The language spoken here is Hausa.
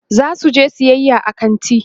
zasu je sayayya a kanti